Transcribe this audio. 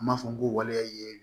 An b'a fɔ ko waleya ye